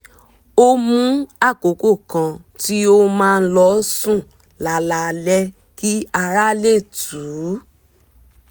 ó mú àkokò kan tí ó máa ń lọ sùn lálaalẹ́ kí ara lè tù ú